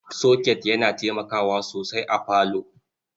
Soket yana taimakawa sosai a parlour.